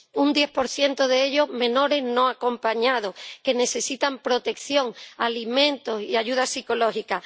Un 10 de ellos son menores no acompañados que necesitan protección, alimentos y ayuda psicológica.